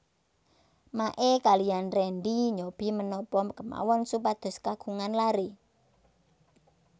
Mae kaliyan Rendy nyobi menapa kemawon supados kagungan laré